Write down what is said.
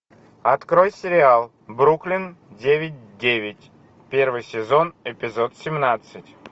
открой сериал бруклин девять девять первый сезон эпизод семнадцать